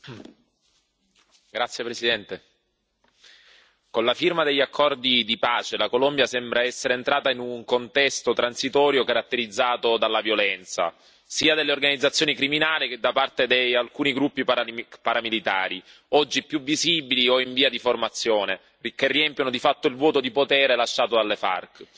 Signor Presidente, onorevoli colleghi, con la firma degli accordi di pace la Colombia sembra essere entrata in un contesto transitorio caratterizzato dalla violenza, sia delle organizzazioni criminali che di alcuni gruppi paramilitari, oggi più visibili o in via di formazione, che riempiono di fatto il vuoto di potere lasciato dalle FARC.